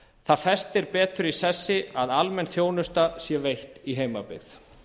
það festir betur í sessi að almenn heilbrigðisþjónusta sé veitt í heimabyggð